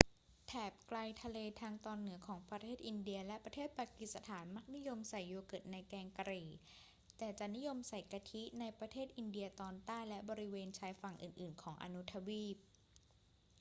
แถบไกลทะเลทางตอนเหนือของประเทศอินเดียและประเทศปากีสถานมักนิยมใส่โยเกิร์ตในแกงกะหรี่ แต่จะนิยมใส่กะทิในประเทศอินเดียตอนใต้และบริเวณชายฝั่งอื่น ๆ ของอนุทวีป